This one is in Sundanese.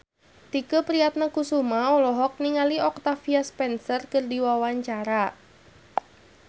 Tike Priatnakusuma olohok ningali Octavia Spencer keur diwawancara